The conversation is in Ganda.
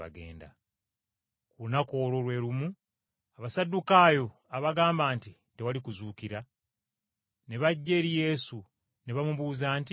Ku lunaku olwo lwe lumu, Abasaddukaayo, abagamba nti, “Tewali kuzuukira,” ne bajja eri Yesu, ne bamubuuza nti,